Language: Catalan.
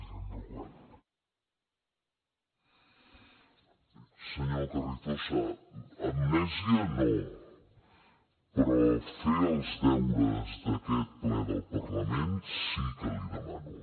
senyor carrizosa amnèsia no però fer els deures d’aquest ple del parlament sí que li demano